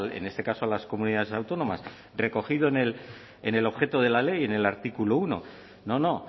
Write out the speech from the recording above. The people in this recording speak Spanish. en este caso las comunidades autónomas recogido en el objeto de la ley en el artículo uno no